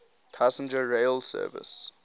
passenger rail service